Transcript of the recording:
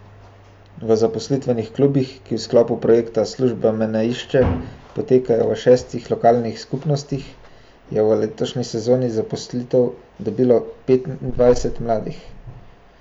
V zaposlitvenih klubih, ki v sklopu projekta Služba me ne išče potekajo v šestih lokalnih skupnostih, je v letošnji sezoni zaposlitev dobilo petindvajset mladih.